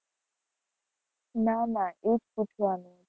ના ના એ જ પૂછવાનું.